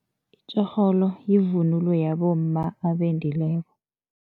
Itjorholo yivunulo yabomma abendileko.